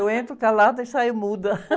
Eu entro calada e saio muda.